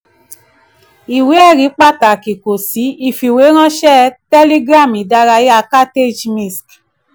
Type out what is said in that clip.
ìwé-ẹ̀rí pàtàkì kò sí: ìfìwéránṣẹ́ telegram ìdárayá cartage misc.